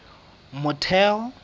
motheo